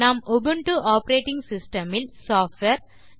நாம் Ubuntu operating system இல் software